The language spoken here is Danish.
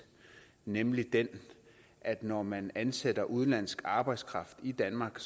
nemlig den at når man ansætter udenlandsk arbejdskraft i danmark